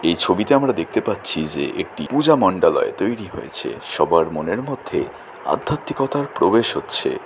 এই ছবিতে আমরা দেখতে পাচ্ছি যে একটি পূজা মন্ডালয় তৈরী হয়েছে সবার মনের মধ্যেআধ্যাত্মিকতার প্রবেশ হচ্ছে।